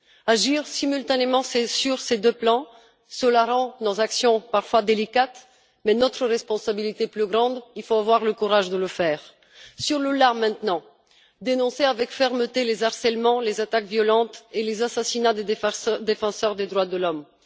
Agir simultanément sur ces deux plans, rend nos actions parfois délicates, mais notre responsabilité est plus grande et il faut avoir le courage de le faire sur le là, maintenant, en dénonçant avec fermeté les harcèlements, les attaques violentes et les assassinats des défenseurs des droits de l'homme.